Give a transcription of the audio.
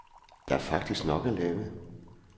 Der er faktisk nok at lave.